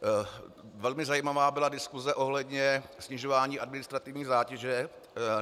Velmi zajímavá byla diskuse ohledně snižování administrativní zátěže.